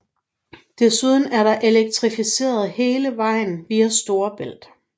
Desuden er der elektrificeret hele vejen via Storebælt